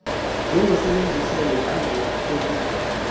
njengosebenzisa lenqubo obizwa